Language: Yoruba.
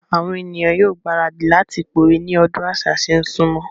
Àwon èniyàn yóò gbéradì láti pòwe ní ọdún àṣà ṣé n súnmọ́.